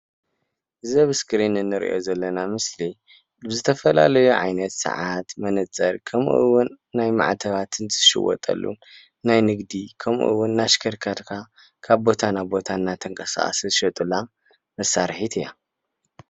እዚ ኣብ እስክሪን እንሪኦ ዘለና ምስሊ ዝተፈላለዩ ዓይነት ሰዓት፣ መነፀር ከምኡውን ናይ ማዕተባትን ዝሽየጠሉ ናይ ንግዲ ከምኡውን እናሽከርከርካ ካብ ቦታ ናብ ቦታ እንዳተንቀሳቀሰ ዝሸጡላ መሳርሒት እያ፡፡